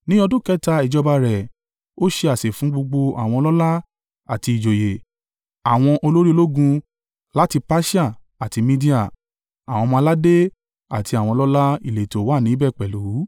ní ọdún kẹta ìjọba rẹ̀, ó ṣe àsè fún gbogbo àwọn ọlọ́lá àti ìjòyè. Àwọn olórí ológun láti Persia àti Media, àwọn ọmọ-aládé, àti àwọn ọlọ́lá ìletò wà níbẹ̀ pẹ̀lú.